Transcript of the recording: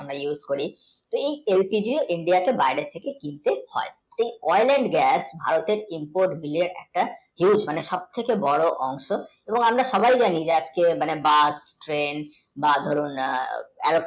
অনেক অনেক এই তেলটিকে India কে বাইরে থেকে কিনতে হয় এই oil and gas ভারতের view এর সব থেকে বড় অংশ এবং আমরা সবাই জানি যে actual, bus, train বা ধরুন